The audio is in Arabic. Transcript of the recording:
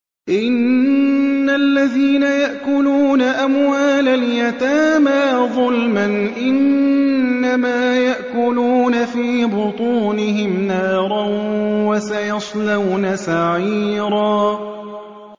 إِنَّ الَّذِينَ يَأْكُلُونَ أَمْوَالَ الْيَتَامَىٰ ظُلْمًا إِنَّمَا يَأْكُلُونَ فِي بُطُونِهِمْ نَارًا ۖ وَسَيَصْلَوْنَ سَعِيرًا